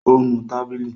Ó nu tábìlì.